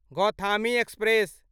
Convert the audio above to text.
Gautami express